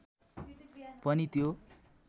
पनि त्यो